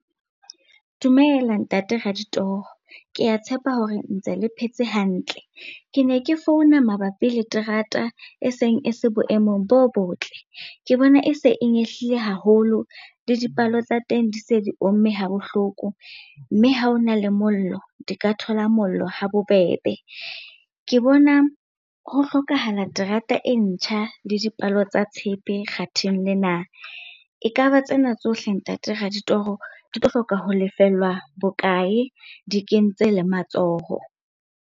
Dumela Ntate Raditoro, ke a tshepa hore ntse le phetse hantle. Ke ne ke founa mabapi le terata e seng e se boemong bo botle. Ke bona e se e nyehlile haholo le dipalo tsa teng di se di omme habohloko, mme ha o na le mollo, di ka thola mollo ha bobebe. Ke bona ho hlokahala terata e ntjha le dipalo tsa tshepe kgatheng lena. Ekaba tsena tsohle Ntate Raditoro, di tlo hloka ho lefellwa bokae? Di kentse le matsoho.